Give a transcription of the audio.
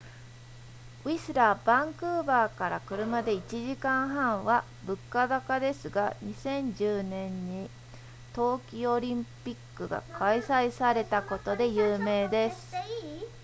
ウィスラーバンクーバーから車で1時間半は物価高ですが2010年に冬季オリンピックが開催されたことで有名です